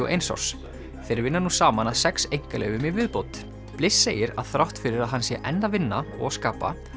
og eins árs þeir vinna nú saman að sex einkaleyfum í viðbót bliss segir að þrátt fyrir að hann sé enn að vinna og skapa